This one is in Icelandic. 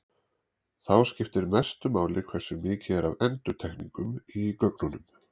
þá skiptir mestu máli hversu mikið er af endurtekningum í gögnunum